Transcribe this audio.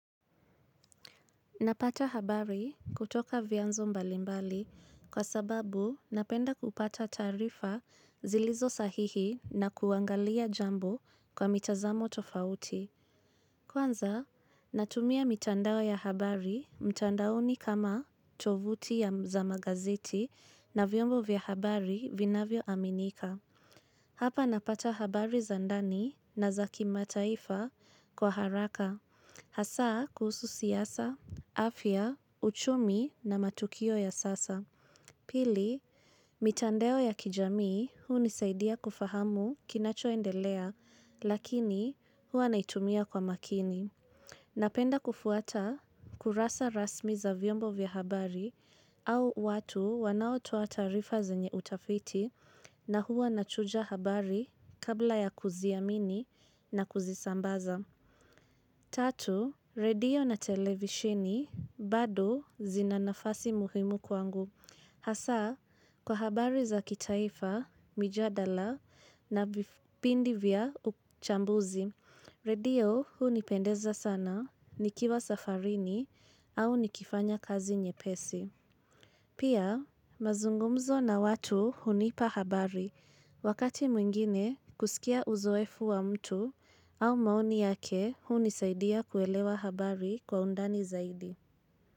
Napata habari kutoka vyanzo mbalimbali kwa sababu napenda kupata taarifa zilizo sahihi na kuangalia jambo kwa mitazamo tofauti. Kwanza natumia mitandao ya habari mtandaoni kama tovuti za magazeti na vyombo vya habari vinavyoaminika. Hapa napata habari za ndani na za kimataifa kwa haraka, hasa kuhusu siasa, afya, uchumi na matukio ya sasa. Pili, mitandao ya kijamii hunisaidia kufahamu kinachoendelea, lakini huwa naitumia kwa makini. Napenda kufuata kurasa rasmi za vyombo vya habari au watu wanao toa taarifa zenye utafiti na huwa nachunja habari kabla ya kuziamini na kuzisambaza. Tatu, radio na televishini bado zina nafasi muhimu kwangu. Hasa, kwa habari za kitaifa, mijadala na vipindi vya uchambuzi, radio hunipendeza sana nikiwa safarini au nikifanya kazi nyepesi. Pia mazungumzo na watu hunipa habari wakati mwingine kusikia uzoefu wa mtu au maoni yake hunisaidia kuelewa habari kwa undani zaidi.